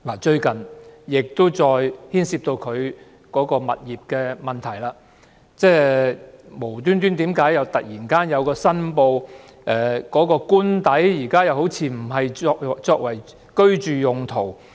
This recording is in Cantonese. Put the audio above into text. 最近司長再次牽涉有關物業的問題，就是她突然申報現時官邸似乎並非用作居住用途。